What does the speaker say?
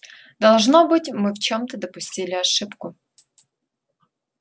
должно быть мы в чём-то допустили ошибку